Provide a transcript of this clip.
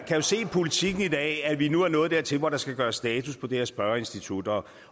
jo se i politiken i dag at vi nu er nået dertil hvor der skal gøres status på det her spørgeinstitut